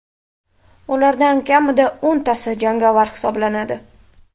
Ulardan kamida o‘ntasi jangovar hisoblanadi.